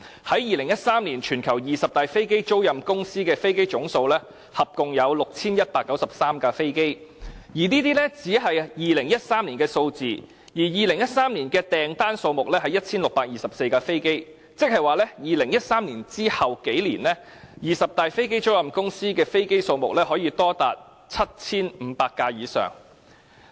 在2013年，全球二十大飛機租賃公司的飛機總數共有 6,193 架，這只是2013年的數字，而2013年的訂單數目是 1,624 架，即在2013年之後數年，二十大飛機租賃公司的飛機數目可以多達 7,500 架以上。